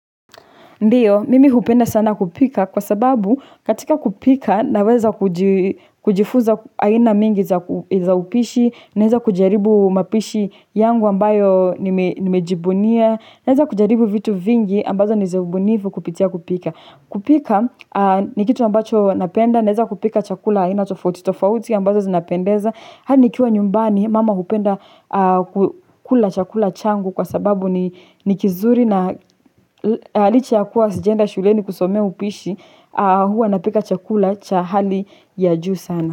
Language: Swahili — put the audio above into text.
Ndiyo mimi hupenda sana kupika kwa sababu katika kupika naweza kujifuza aina mingi za upishi naweza kujaribu mapishi yangu ambayo nimejibunia naweza kujaribu vitu vingi ambazo niza ubunifu kupitia kupika. Kupika ni kitu ambacho napenda, neza kupika chakula aina tofauti, tofauti ambazo zinapendeza hadi nikiwa nyumbani, mama hupenda kula chakula changu kwa sababu ni kizuri na licha ya kuwa sijaenda shuleni kusomea upishi, huwa napika chakula cha hali ya juu sana.